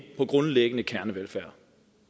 på grundlæggende kernevelfærd